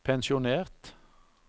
pensjonert